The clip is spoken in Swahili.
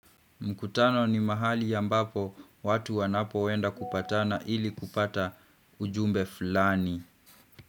Mkutano ni mahali ambapo watu wanapoenda kupatana ili kupata ujumbe fulani.